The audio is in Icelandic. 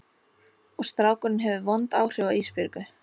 Og strákurinn hefur vond áhrif á Ísbjörgu.